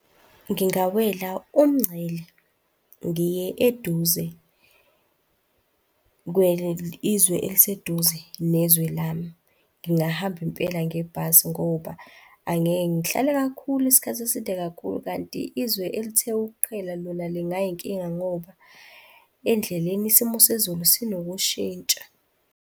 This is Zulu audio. Ngingawela umngcele ngiye eduze izwe eliseduze nezwe lami. Ngingahamba impela ngebhasi ngoba angeke ngihlale kakhulu isikhathi eside kakhulu. Kanti izwe elithe ukuqhela lona lingayinkinga ngoba endleleni isimo sezulu sinokushintsha.